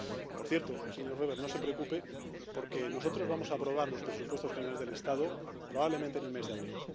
Por cierto, señor Weber, no se preocupe, porque nosotros vamos a aprobar los presupuestos generales del Estado probablemente en el mes de abril.